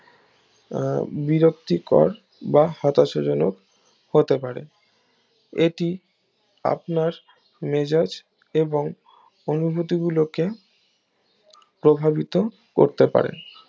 আহ বিরক্তিকর বা হতাশা জনক হতে পারে এটি আপনার মেজাজ এবং অনুভূতি গুলোকে প্রভাবিত করতে পারে